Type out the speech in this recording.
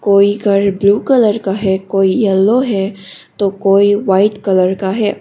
कोई घर blue colour का है कोई यलो है तो कोई व्हाइट कलर का है।